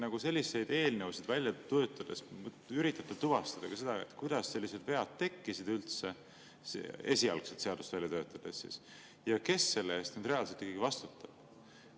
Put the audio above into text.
Kas te selliseid eelnõusid välja töötades üritate tuvastada ka seda, kuidas sellised vead esialgset seadust välja töötades üldse tekkisid ja kes selle eest reaalselt ikkagi vastutab?